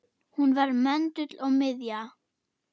Hún var möndull og miðja.